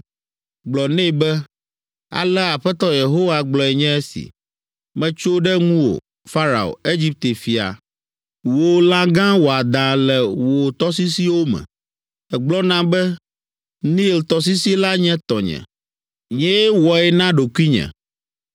Gblɔ nɛ be, ‘Alea Aƒetɔ Yehowa gblɔe nye esi: “ ‘Metso ɖe ŋuwò, Farao, Egipte fia, wò lã gã wɔadã le wò tɔsisiwo me. Egblɔna be, “Nil tɔsisi la nye tɔnye. Nyee wɔe na ɖokuinye.”